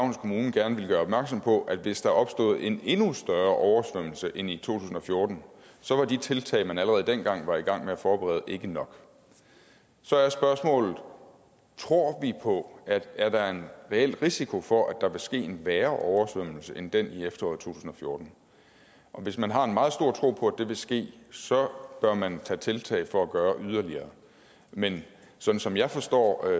kommune gerne ville gøre opmærksom på at hvis der opstod en endnu større oversvømmelse end den i to tusind og fjorten så var de tiltag man allerede dengang var i gang med at forberede ikke nok så er spørgsmålet tror tror vi på at der er en reel risiko for at der vil ske en værre oversvømmelse end den i efteråret 2014 hvis man har en meget stor tro på at det vil ske så bør man tage tiltag for at gøre yderligere men sådan som jeg forstår